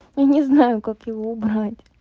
я не знаю как его убрать